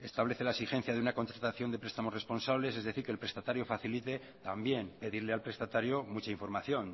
establece la exigencia de una contratación de prestamos responsables es decir que el prestatario facilite también pedirle al prestatario mucha información